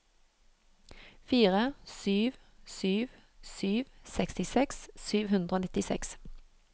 fire sju sju sju sekstiseks sju hundre og nittiseks